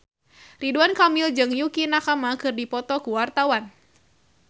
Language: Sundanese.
Ridwan Kamil jeung Yukie Nakama keur dipoto ku wartawan